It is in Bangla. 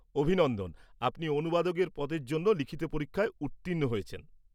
-অভিনন্দন! আপনি অনুবাদকের পদের জন্য লিখিত পরীক্ষায় উত্তীর্ণ হয়েছেন।